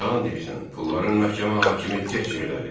Yalan deyirsən, pulların məhkəmə hakimi tək yerdədir.